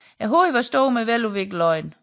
Hovedet er stort med veludviklede øjne